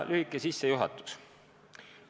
Lühike sissejuhatus.